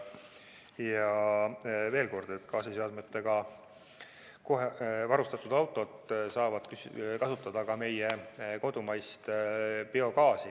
Veel kord, gaasiseadmetega varustatud autod saavad kasutada ka meie kodumaist biogaasi.